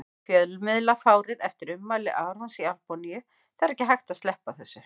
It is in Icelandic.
Fjölmiðlafárið eftir ummæli Arons í Albaníu Það er ekki hægt að sleppa þessu.